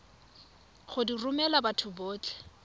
go di romela batho botlhe